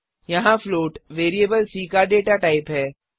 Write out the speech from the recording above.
यहाँ float variable c का data type प्रकार है